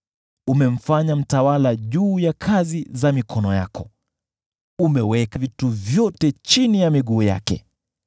Umemfanya mtawala juu ya kazi za mikono yako; umeweka vitu vyote chini ya miguu yake.